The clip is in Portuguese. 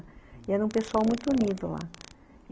E era um pessoal muito unido lá.